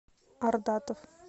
ардатов